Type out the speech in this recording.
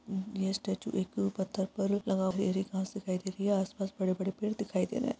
यह स्टेचू एक पत्थर पर लगा हुआ हरी हरी घास दिखाई दे रही है आस पास बड़े बड़े पेड़ दिखाई दे रहे है।